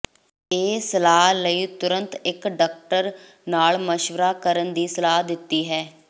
ਇਹ ਸਲਾਹ ਲਈ ਤੁਰੰਤ ਇੱਕ ਡਾਕਟਰ ਨਾਲ ਮਸ਼ਵਰਾ ਕਰਨ ਦੀ ਸਲਾਹ ਦਿੱਤੀ ਹੈ